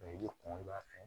i bɛ kɔn i b'a fɛ